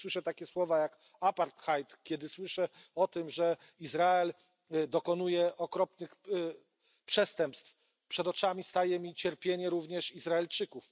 Kiedy słyszę takie słowa jak apartheid, kiedy słyszę o tym, że Izrael dokonuje okropnych przestępstw, przed oczami staje mi również cierpienie Izraelczyków.